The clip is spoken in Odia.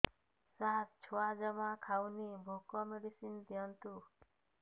ସାର ଛୁଆ ଜମା ଖାଉନି ଭୋକ ମେଡିସିନ ଦିଅନ୍ତୁ